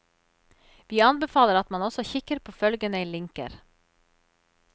Vi anbefaler at man også kikker på følgende linker.